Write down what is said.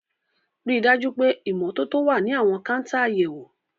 Rí i dájú pé ìmọ́tótó wà ní àwọn káńtà àyẹ̀wò.